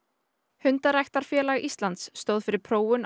hundaræktunarfélag Íslands stóð fyrir prófun á